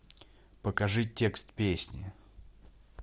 покажи текст песни